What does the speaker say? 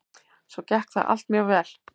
Svo gekk það allt mjög vel.